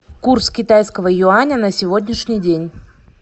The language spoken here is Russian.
курс китайского юаня на сегодняшний день